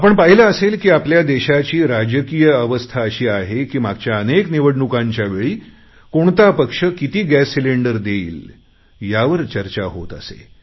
आपण पाहिले असेल की आपल्या देशाची राजकीय अवस्था अशी आहे की मागच्या अनेक निवडणुकांच्या वेळी कोणता पक्ष किती गॅस सिलेंडर देईल यावर चर्चा होत असे